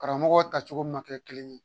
Karamɔgɔ ta cogo ma kɛ kelen ye